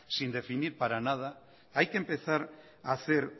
sin definir para nada hay que empezar hacer